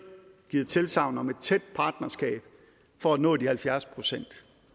givet tilsagn om et tæt partnerskab for at nå de halvfjerds procent